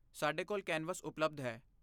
ਸਾਡੇ ਕੋਲ ਕੈਨਵਸ ਉਪਲਬਧ ਹੈ।